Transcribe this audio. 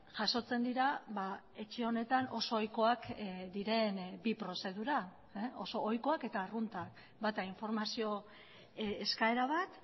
jasotzen dira etxe honetan oso ohikoak diren bi prozedura oso ohikoak eta arruntak bata informazio eskaera bat